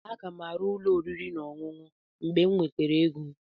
Aga m arụ ụlọ oriri na ọṅụṅụ mgbe m nwetara ego.